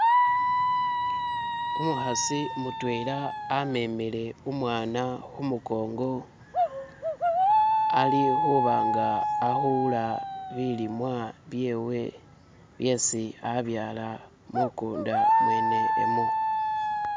Umukhasi mutwela amemele umwana khumukongo ali khuba nga akhula bilimwa byewe byesi abyala mukunda mwene umwo.